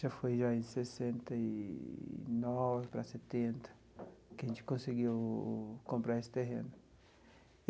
Já foi aí sessenta e nove para setenta, que a gente conseguiu comprar esse terreno.